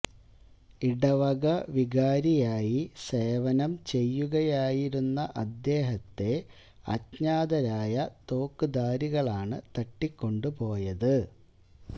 ഇടവക വികാരിയായി സേവനം ചെയ്യുകയായിരുന്ന അദ്ദേഹത്തെ അജ്ഞാതരായ തോക്കുധാരികളാണ് തട്ടിക്കൊണ്ടു പോയത്